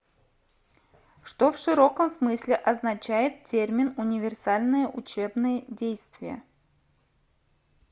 что в широком смысле означает термин универсальные учебные действия